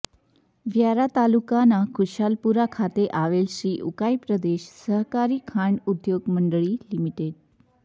વ્યારા તાલુકાના ખુશાલપુરા ખાતે આવેલ શ્રી ઉકાઇ પ્રદેશ સહકારી ખાંડ ઉદ્યોગ મંડળી લિ